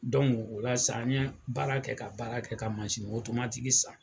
Don o la san n ye baara kɛ ka baara kɛ ka massin otomatigi san.